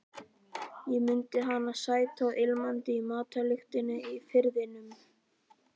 Ég mundi hana sæta og ilmandi í matarlyktinni í Firðinum.